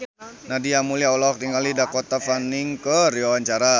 Nadia Mulya olohok ningali Dakota Fanning keur diwawancara